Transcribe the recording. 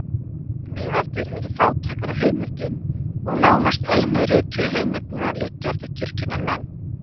Miðaldir eru fátækar af heimildum og nánast einu rituðu heimildirnar liggja eftir kirkjunnar menn.